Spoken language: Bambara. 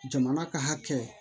Jamana ka hakɛ